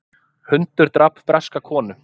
Hundur drap breska konu